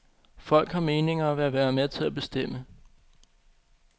Folk har meninger og vil være med til at bestemme.